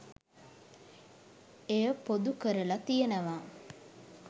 එය පොදු කරලා තියෙනවා.